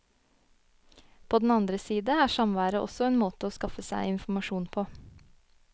På den andre side er samværet også en måte å skaffe seg informasjon på.